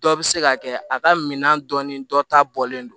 Dɔ bɛ se ka kɛ a ka minan dɔnni dɔ ta bɔlen don